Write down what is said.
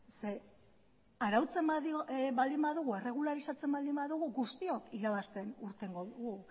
ze arautzen baldin badugu erregularizatzen baldin badugu guztiok irabazten irtengo dugu